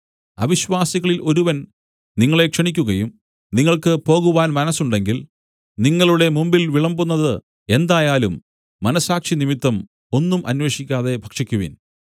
അവിശ്വാസികളിൽ ഒരുവൻ നിങ്ങളെ ക്ഷണിക്കുകയും നിങ്ങൾക്ക് പോകുവാൻ മനസ്സുമുണ്ടെങ്കിൽ നിങ്ങളുടെ മുമ്പിൽ വിളമ്പുന്നത് എന്തായാലും മനസ്സാക്ഷി നിമിത്തം ഒന്നും അന്വേഷിക്കാതെ ഭക്ഷിക്കുവിൻ